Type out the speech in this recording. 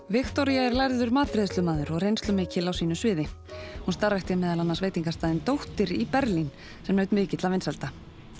Viktoría er lærður matreiðslumaður og reynslumikil á sínu sviði hún starfrækti meðal annars veitingastaðinn dóttir í Berlín sem naut mikilla vinsælda